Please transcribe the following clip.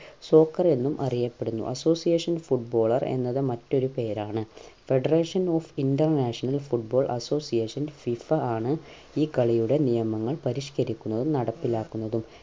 soccer എന്നും അറിയപ്പെടുന്നു association footballer എന്നത് മറ്റൊരു പേരാണ് federation of international football associationFIFA ആണ് ഈ കളിയുടെ നിയമങ്ങൾ പരിഷ്‌കരിക്കുന്നതും നടപ്പിലാക്കുന്നതും